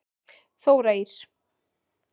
Þóra Ýr.